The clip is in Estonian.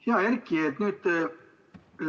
Hea Erki!